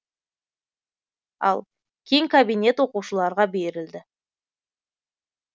ал кең кабинет оқушыларға берілді